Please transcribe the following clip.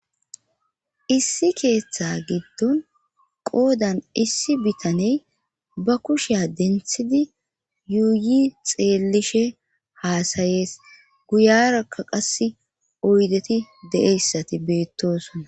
Issi keeththa giddon qoodan issi bitaney ba kushiya denthidi yuuyi xeellishe haasayees guyarakka qasse oydeti de'eyssati beettosona.